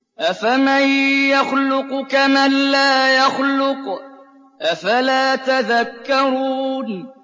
أَفَمَن يَخْلُقُ كَمَن لَّا يَخْلُقُ ۗ أَفَلَا تَذَكَّرُونَ